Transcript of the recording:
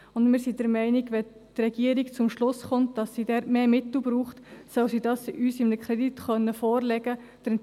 Wir sind auch der Meinung, wenn die Regierung zum Schluss kommt, dass sie dort mehr Mittel braucht, solle sie uns dies in einem Kredit vorlegen können.